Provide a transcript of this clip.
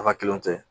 A ka kiliyanw tɛ